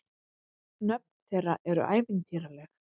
Nöfn þeirra eru ævintýraleg.